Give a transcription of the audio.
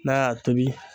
N'a y'a tobi